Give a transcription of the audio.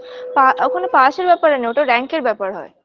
পা ওখানে pass -এর ব্যাপার না ওটা rank -এর ব্যাপার হয়